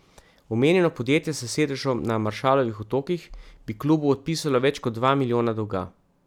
Omenjeno podjetje s sedežem na Maršalovih otokih bi klubu odpisalo več kot dva milijona dolga.